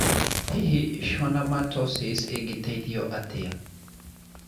Hihi schwannomatosis ĩngĩteithio atĩa?